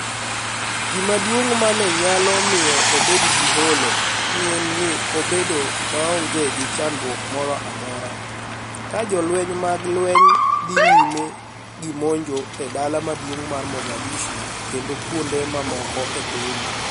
Gima duonig' ma ni e niyalo miyo obed gi Holo ni e eni nii odhi bedo maonige gi chanidruok moro amora. Ka jolweniy mag lweniy dhi niyime gi monij e dala maduonig ' mar Mogadishu kenido kuonide mamoko e piniy.